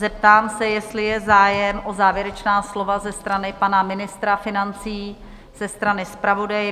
Zeptám se, jestli je zájem o závěrečná slova ze strany pana ministra financí, ze strany zpravodaje?